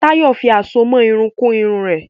Tayo fí Àsomọ́ Irun kun Irun rẹ.